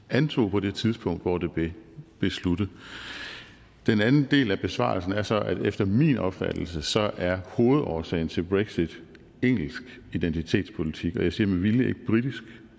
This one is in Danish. antog på det tidspunkt hvor det blev besluttet den anden del af besvarelsen er så at efter min opfattelse er hovedårsagen til brexit engelsk identitetspolitik og jeg siger med vilje